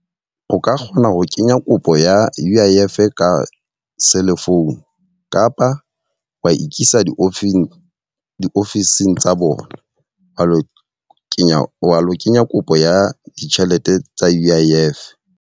O ka kgona ho kenya kopo ya U_I_F ka cell phone. kapa wa ikisa diofising diofising tsa bona wa lo kenya wa lo kenya kopo ya ditjhelete tsa U_I_F.